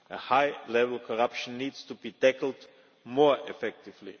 High level corruption needs to be tackled more effectively.